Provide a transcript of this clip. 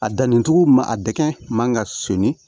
A danni cogo man a dɛgɛn man ka sonni